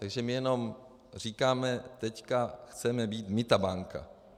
Takže my jenom říkáme: teď chceme být my ta banka.